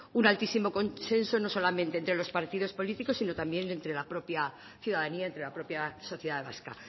un altísimo consenso no solamente entre partidos políticos sino también entre la propia sociedad vasca